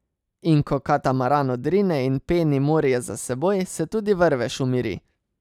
In ko katamaran odrine in peni morje za seboj, se tudi vrvež umiri.